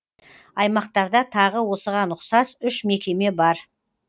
аймақтарда тағы осыған ұқсас үш мекеме бар